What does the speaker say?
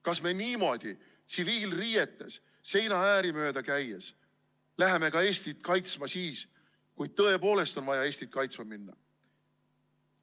Kas me niimoodi tsiviilriietes seinaääri mööda käies läheme ka Eestit kaitsma, siis kui tõepoolest on vaja Eestit kaitsma minna?